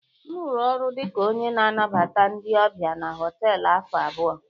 M rụrụ ọrụ dị ka onye na-anabata ndị ọbịa na họtelu afọ abụọ